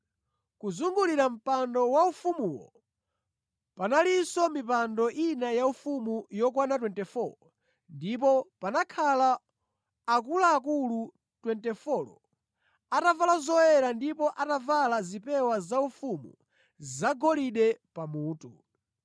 Kuzungulira mpando waufumuwu panalinso mipando ina yaufumu yokwana 24 ndipo panakhala akuluakulu 24 atavala zoyera ndipo anavala zipewa zaufumu zagolide pamutu.